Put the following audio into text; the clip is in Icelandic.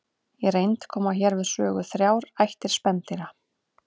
Í reynd koma hér við sögu þrjár ættir spendýra.